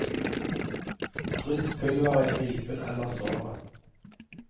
Dryss pulveret i ripen eller såret.